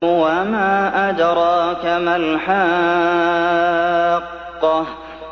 وَمَا أَدْرَاكَ مَا الْحَاقَّةُ